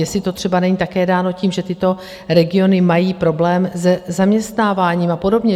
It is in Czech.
Jestli to třeba není také dáno tím, že tyto regiony mají problém se zaměstnáváním a podobně.